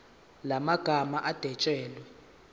la magama adwetshelwe